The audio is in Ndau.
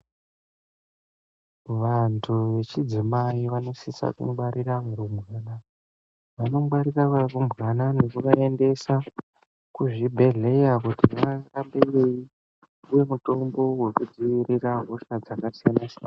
Vantu vechidzimai vano dose Ku ngwarira varumbwana nekuvaendesa kuzvibhehlera vatambire mitombo hwekudzivirira hosha dzakasiyana siyana.